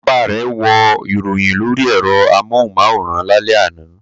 Bàbá rẹ̀ wo ìròyìn lórí ẹ̀rọ amóhùmáwòhán lálẹ́ àná.